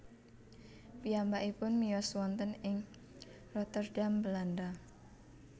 Piyambakipun miyos wonten ing Rotterdam Belanda